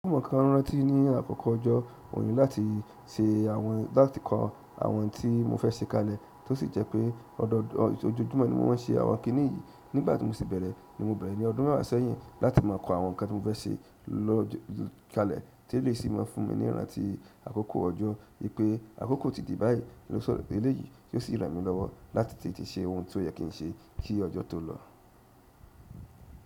Mọ̀ ko n rántí ní àkókò ọjọ́ oni láti ṣe àwọn láti kọ àwọn tí mo fẹ́ ṣe kalẹ̀ tó sì jẹ́ pé ọdọọ ojojúmọ́ ni mo ń se àwọn kíní yìí nígbàtí mo sì bẹ̀rẹ̀ ni mo bẹ̀rẹ̀ ní ọdún mẹ́wàá sẹ́yìn láti máa kọ àwọn nǹkan tí mo fẹ́ ṣe lo lọ kalẹ̀ tí e lèyi sì máa fún mi ní ìrántí àkókò ọjọ́ wípé àkókò ti di báyìí losoro pé eléyìí yo sì ràn mí lọ́wọ́ láti tètè ṣe ohun tó yẹ kí n ṣe kí ọjọ́ tó lọ.